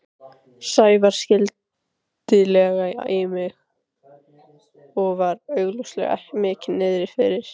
Sævar skyndilega í mig og var augljóslega mikið niðri fyrir.